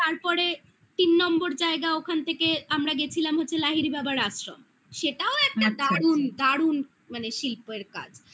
তারপরে তিন নম্বর জায়গা ওখান থেকে আমরা গেছিলাম হচ্ছে লাহিড়ী বাবার আশ্রম সেটাও একটা দারুন আচ্ছা দারুন মানে শিল্পের কাজ